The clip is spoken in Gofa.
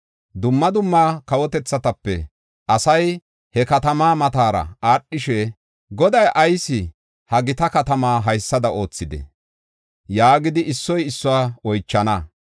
“Dumma dumma kawotethatape asay he katamaa matara aadhishe, ‘Goday ayis ha gita katamaa haysada oothidee?’ yaagidi issoy issuwa oychana.